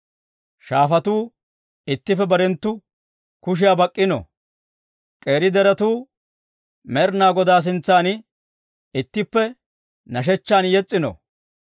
Shaafatuu ittippe barenttu kushiyaa bak'k'ino. K'eeri deretuu Med'inaa Godaa sintsan ittippe nashshechchan yes's'ino.